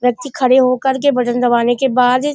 व्यक्ति खड़े होकर के बटन दबाने के बाद --